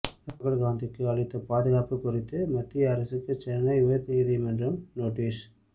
ராகுல் காந்திக்கு அளித்த பாதுகாப்பு குறித்து மத்திய அரசுக்கு சென்னை உயர்நீதிமன்றம் நோட்டீஸ்